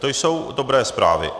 To jsou dobré zprávy.